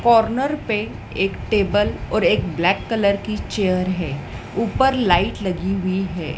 Corner पे एक table और एक ब्लैक कलर की चेयर है ऊपर लाइट लगी हुई है।